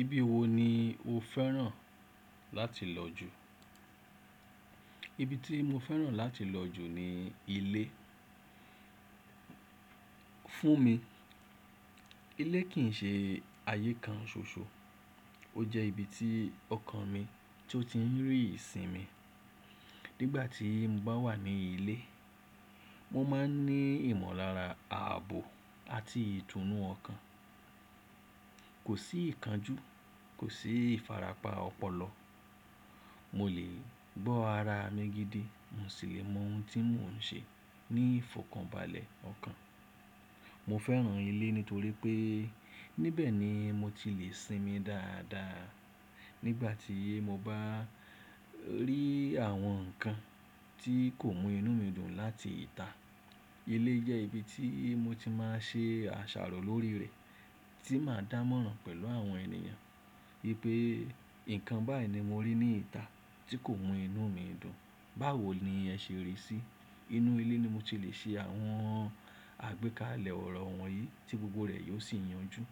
Ibi wo ni o fẹ́ràn láti lọ jù? Ibi tí mo fẹ́ràn láti lọ jù ni ilé. Fún mi, ilé kì í ṣe ààyè kan ṣoṣo, ó jẹ́ ibi tí ọkàn mi tó ti ń rí ìsinmi. Nígbà tí mo bá wà ní ilé, mo máa ń ní ìmọ̀lára, ààbò àti ìtùnú ọkàn. Kò sí ìkánjú, kò sí ìfarapa ọpọlọ. Mo lè gbọ́ ara mi gidi, mo sì lè mọ oun tí mò ń ṣe ní ìfọ̀kànbalẹ̀ ọkàn. Mo fẹ́ràn ilé nítorí pé níbẹ̀ ni mo ti lè sinmi dáadáa. Nígbà tí mo bá rí àwọn nǹkan tí kò mú inú mi dùn láti ìta, ilé jẹ́ ibi tí mo ti máa ṣe àṣàrò lórí rẹ̀ tí màá dánmọ́rán pẹ̀lú àwọn ènìyàn wípé, "Nǹkan báá ni mo rí ní ìta tí kò mú inú mi dùn, báwo ni ẹ ṣe rí í sí?" Inú ilé ni mo ti lè ṣe àwọn àgbékalẹ̀ ọ̀rọ̀ wọ̀nyí tí gbogbo rẹ̀ yóò sì yanjú.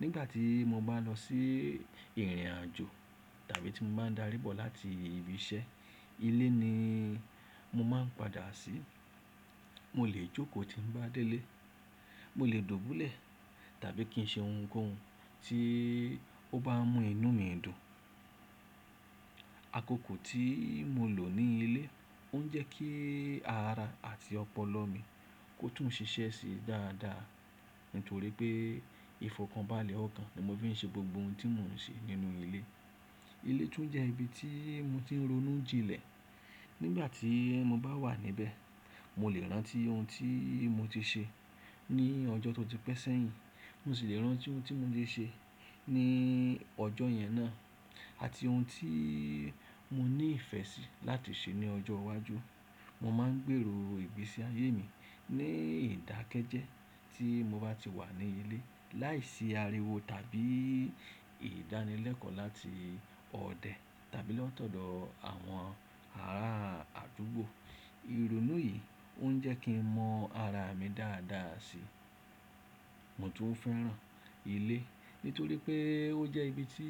Nígbà tí mo bá lọ sí ìrìnàjò tàbí tí mo bá dárí bọ̀ láti ibi iṣẹ́, ilé ni mo máa ń padà sí. Mo lè jókòó tí ń bá dé lé, mo lè dùbúlẹ̀ tàbí kí n ṣe ounkóun tí ó bá mú inú mi dùn. Akoko tí mo lò ní ilé, ó ń jẹ́ kí ara àti ọpọlọ mi kó tún ṣiṣẹ́ sí dáadáa nítorí pé ìfọ̀kànbalẹ̀ ọkàn ni mo fi ń ṣe gbogbo oun tí mò ń ṣe nínú ilé. Ilé tún jẹ́ ibi tí mo ti ń ronú jinlẹ̀. Nígbà tí mo bá wà níbẹ̀, mo lè rántí oun tí mo ti ṣe ní ọjọ́ tó ti pẹ́ sẹ́yìn, mo sì lè rántí oun tí mo ṣe ní ọjọ́ yẹn náà àti oun tí mo ní ìfẹ́ sí láti ṣe ní ọjọ́ iwájú. Mo máa ń gbèrò ìgbésí ayé mi ní ìdákẹ́jẹ́ tí mo bá ti wà ní ilé láìsí ariwo tàbí ìdánilẹ́kọ̀ọ́ láti ọdẹ tàbí lọ́tọ̀dọ̀ àwọn ará àdúgbò. Irunú yìí ó ń jẹ́ kí n mọ ara mi dáadáa si. Mo tún fẹ́ràn ilé nítorí pé ó jẹ́ ibi tí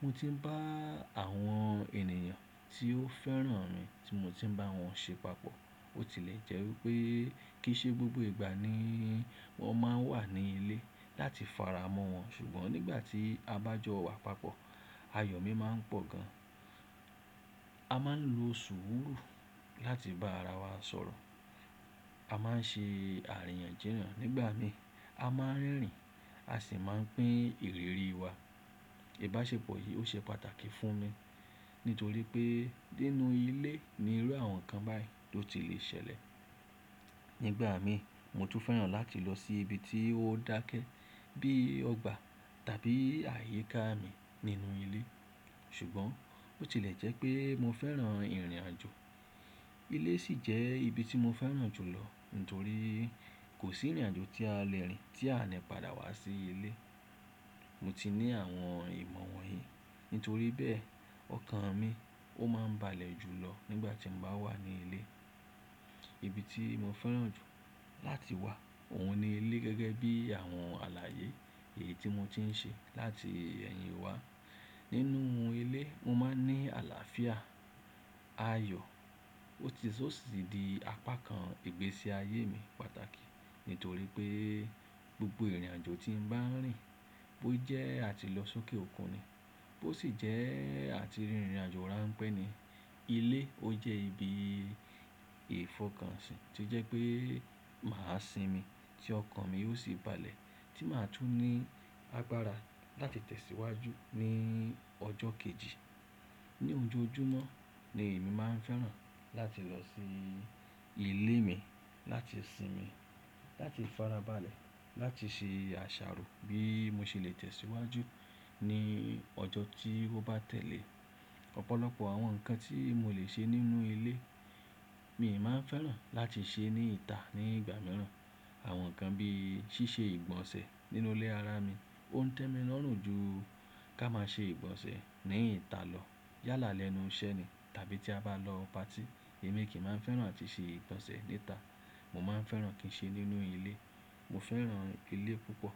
mo ti ń bá àwọn ènìyàn tí ó fẹ́ràn mi tí mo ti ń bá wọn ṣe papọ̀. Ó tilẹ̀ jẹ́ wípé kì í ṣe gbogbo ìgbà ni wọ́n máa ń wà ní ilé láti fara mọ́ wọn, ṣùgbọ́n nígbà tí a bá jọ wà papọ̀, ayọ̀ mi máa ń pọ̀ gan. A máa ń lo sùúrù láti bá ara wa sọ̀rọ̀, a máa ń ṣe àríyànjiyàn nígbà mi, a máa ń rínrin a sì máa pín ìrírí wa. Ìbáṣepọ̀ yìí ó ṣe pàtàkì fún mi nítorí pé nínú ilé ni irú àwọn nǹkan báyìí tó ti lè ṣẹlẹ̀. Nígbà mi, mo tún fẹ́ràn láti lọ sí ibi tí ó dákẹ́ bí ọgbà tàbí ààyíká mi nínú ilé. Ṣùgbọ́n ó tilẹ̀ jẹ́ pé mo fẹ́ràn ìrìnàjò. Ilé sì jẹ́ ibi tí mo fẹ́ràn jù lọ nítorí kò sí ìrìnàjò tí a lè rìn tí a ní padà wá sí ilé. Mo ti ní àwọn ìmọ̀ wọ̀nyí nítorí bẹ́ẹ̀, ọkàn mi ó máa ń balẹ̀ jù lọ nígbà tí mo bá wà ní ilé. Ibi tí mo fẹ́ràn jù láti wà òun ni ilé gẹ́gẹ́ bí àwọn àlàyé èyí tí mo ti ń ṣe láti ẹ̀yìn wá. Nínú ilé mo máa ń ní àlàáfíà, ayọ̀, ó sì di apá kan ìgbésí ayé mi pàtàkì nítorí pé gbogbo ìrìnàjò tí ń bá rìn, bó jẹ́ a ti lọ sókè òkun ni, bó sì jẹ́ a ti rìnrìnàjò rán pẹ́ ni, ilé ó jẹ́ ibi ìfọ̀kànṣí tí jẹ́ pé màá sinmi tí ọkàn mi ó sì balẹ̀ tí màá tún ní agbára láti tẹ̀síwájú ní ọjọ́ kejì. Ni ojo ojúmọ́ ni èmi máa ń fẹ́ràn láti lọ sí ilé mi láti sinmi, láti farabalẹ̀, láti ṣe àṣàrò bí mo ṣe lè tẹ̀síwájú ní ọjọ́ tí ó bá tẹ̀lé. Ọ̀pọ̀lọpọ̀ àwọn nǹkan tí mo lè ṣe nínú ilé, mi ò máa ń fẹ́ràn láti ṣe ní ìta ní ìgbà mìíràn. Àwọn nǹkan bí í ṣíṣe ìgbọ̀nsẹ̀ nínú ilé ara mi ó ń tẹ́mi lọ́rùn ju ká máa ṣe ìgbọ̀nsẹ̀ ní ìta lọ yálà lẹ́nu iṣẹ́ ni tàbí tí a bá lọ party, èmi kì í máa ń fẹ́ràn láti ṣe ìgbọ̀nsẹ̀ ní ìta. Mo máa ń fẹ́ràn kí n ṣe nínú ilé. Mo fẹ́ràn ilé púpọ̀.